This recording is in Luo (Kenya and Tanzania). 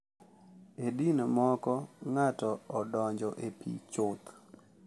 E din moko, ng’ato odonjo e pi chuth,